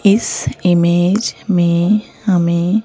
इस इमेज में हमें--